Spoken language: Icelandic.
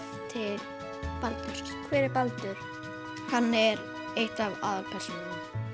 til Baldurs hver er Baldur hann er einn af aðalpersónunum